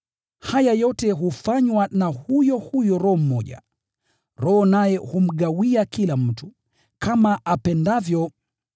Haya yote hufanywa na huyo huyo Roho mmoja, Roho naye humgawia kila mtu, kama apendavyo.